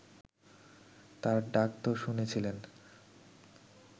তাঁর ডাক তো শুনেছিলেন